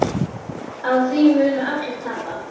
Á því munu allir tapa.